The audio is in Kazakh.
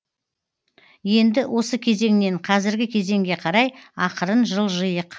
енді осы кезеңнен қазіргі кезеңге қарай ақырын жылжыйық